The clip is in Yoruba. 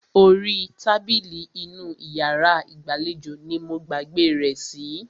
Orí tábìlì inú iyàrá ìgbàlejò ní mo gbàgbé rẹ̀ sí.